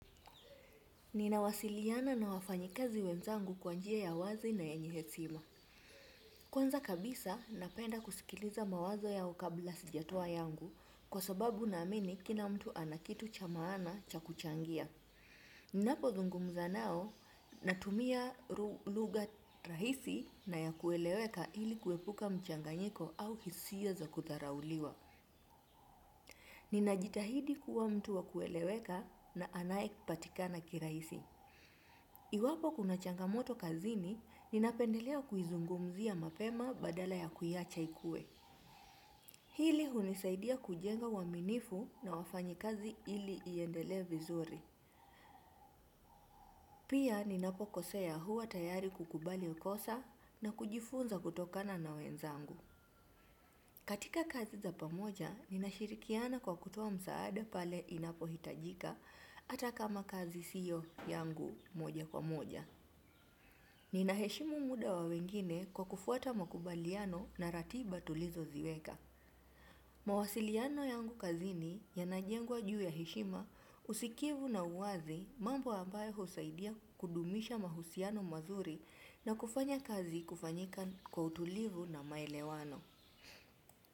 Ninawasiliana na wafanyikazi wenzangu kwanjia ya wazi na yenyehetsima. Kwanza kabisa, napenda kusikiliza mawazo yao kabla sijatoa yangu kwa sababu na ameni kila mtu anakitu chamaana cha kuchangia. Ninapo zungumza nao, natumia luga rahisi na ya kueleweka ili kuepuka mchanganyiko au hisia za kutarauliwa. Ninajitahidi kuwa mtu wa kueleweka na anayepatikana kiraisi. I wapo kuna changamoto kazini, ninapendelea kuizungumzia mapema badala ya kuyacha ikue. Hili hunisaidia kujenga waminifu na wafanyi kazi hili iendele vizuri. Pia ninapo kosea huwa tayari kukubali ukosa na kujifunza kutokana na wenzangu. Katika kazi za pamoja, ninashirikiana kwa kutowa msaade pale inapo hitajika atakama kazi siyo yangu moja kwa moja. Nina heshimu muda wa wengine kwa kufuata makubaliano na ratiba tulizo ziweka. Mawasiliano yangu kazini yanajengwa juu ya heshima usikivu na uwazi mambo ambaye husaidia kudumisha mahusiano mazuri na kufanya kazi kufanyika kwa utulivu na maelewano.